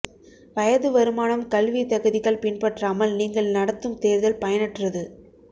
வயது வருமானம் கல்வி தகுதிகள் பின்பற்றாமல் நீங்கள் நடத்தும் தேர்தல் பயனற்றது